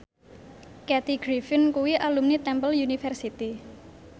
Kathy Griffin kuwi alumni Temple University